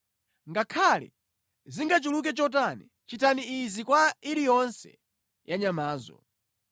Ngakhale zingachuluke chotani, chitani izi kwa iliyonse ya nyamazo.